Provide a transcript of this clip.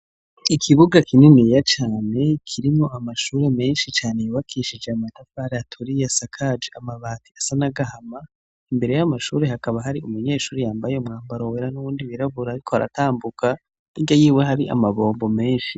Ikibuga kininiya cane kirimwo amashure menshi cane yubakishije amatafari aturiye asakaje amabati asa n'agahama, imbere y'amashure hakaba hari umunyeshure yambaye umwambaro wera n'uwundi wirabura ariko aratambuka hirya y'iwe hari amabombo menshi.